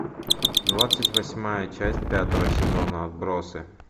двадцать восьмая часть пятого сезона отбросы